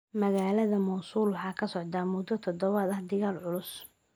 Magaalada Mosul waxaa ka socda muddo todobaad ah dagaal culus.